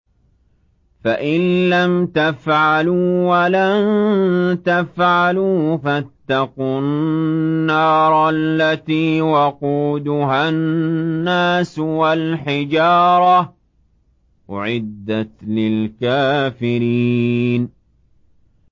فَإِن لَّمْ تَفْعَلُوا وَلَن تَفْعَلُوا فَاتَّقُوا النَّارَ الَّتِي وَقُودُهَا النَّاسُ وَالْحِجَارَةُ ۖ أُعِدَّتْ لِلْكَافِرِينَ